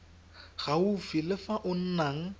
gaufi le fa o nnang